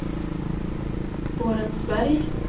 Borensberg